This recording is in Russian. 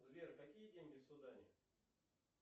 сбер какие деньги в судане